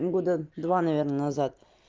года два наверное назад